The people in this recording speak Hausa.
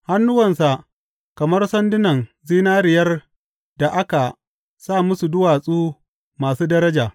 Hannuwansa kamar sandunan zinariyar da aka sa musu duwatsu masu daraja.